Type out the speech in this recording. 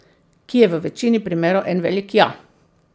Ki je v večini primerov en velik ja.